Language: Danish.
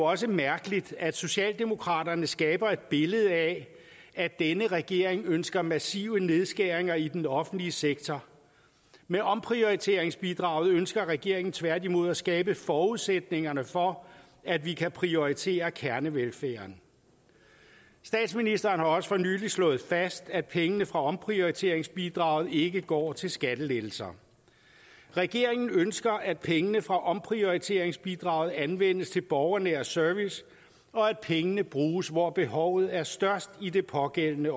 også mærkeligt at socialdemokraterne skaber et billede af at denne regering ønsker massive nedskæringer i den offentlige sektor med omprioriteringsbidraget ønsker regeringen tværtimod at skabe forudsætningerne for at vi kan prioritere kernevelfærden statsministeren har også for nylig slået fast at pengene fra omprioriteringsbidraget ikke går til skattelettelser regeringen ønsker at pengene fra omprioriteringsbidraget anvendes til borgernær service og at pengene bruges hvor behovet er størst i det pågældende